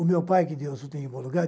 O meu pai, que Deus o tenha em bom lugar.